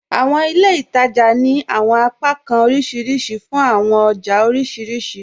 Àwọn ilẹ̀ ìtaja ni àwọn apakàn oríṣiríṣì fún àwọn ọjà oríṣiríṣì